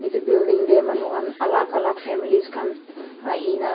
edu building tae manu khan alak alak families khan ahina.